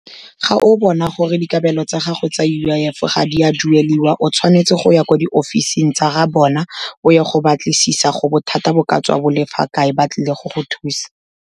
Ga o bona gore dikabelo tsa gago tsa U_I_F ga di a duelwa, o tshwanetse go ya ko di-office-ing tsa ga bona, o ye go batlisisa gore bothata bo ka tswa bo le fa kae, ba tlile go go thusa.